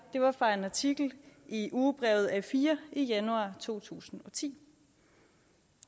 var fra en artikel i ugebrevet a4 i januar to tusind og ti